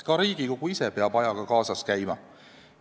Ka Riigikogu ise peab ajaga kaasas käima.